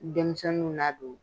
Denmisɛnninw ladon.